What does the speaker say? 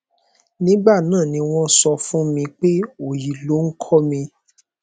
nígbà náà ni wọn sọ fún mi pé òòyì loh ń kọ mi